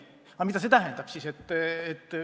Mida see siis tähendab?